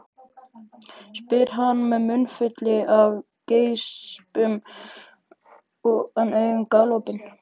spyr hann með munnfylli af geispum en augun galopin.